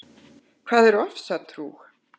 Hvað er ofsatrú?